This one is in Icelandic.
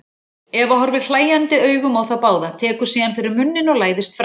Eva horfir hlæjandi augum á þá báða, tekur síðan fyrir munninn og læðist fram.